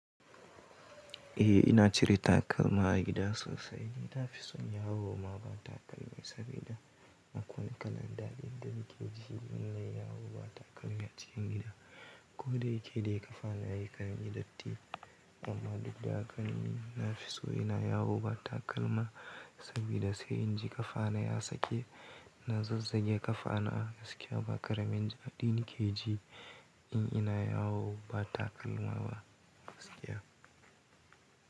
Eh ina cire takalma a gida sosai. Ni na fi son yawo ma ba takalmi, sabida akwai wane kalan daɗin da nike ji in na yi yawo ba takalmi a cikin gida. Ko daya ke dai ƙafa na yakan yi datti, amma duk da haka ni na fi so ina yawo ba takalma, sabida sai in ji ƙafa na ya sake. Na zazzage ƙafa na, gaskiya ba ƙaramin daɗi nike ji, in ina yawo ba takalma ba gaskiya.